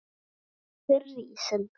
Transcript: Takk fyrir ísinn.